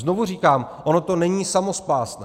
Znovu říkám, ono to není samospásné.